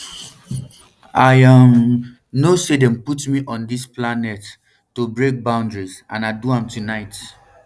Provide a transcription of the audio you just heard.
i um know now say dem put me on dis planet um to break boundaries and i do am tonight